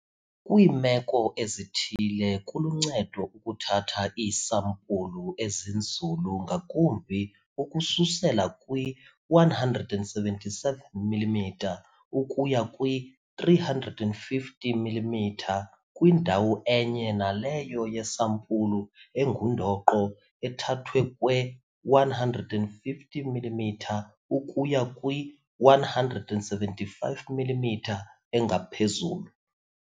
Kwiimeko ezithile kuluncedo ukuthatha iisampulu ezinzulu ngakumbi ukususela kwi-177 mm ukuya kwi-350 mm kwindawo enye naleyo yesampulu engundoqo ethathwe kwe-150 mm ukuya kwi-175 mm engaphezulu.